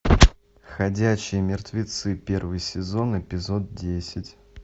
ходячие мертвецы первый сезон эпизод десять